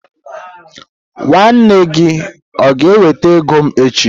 Nwanne gi o ga-eweta ego m echi?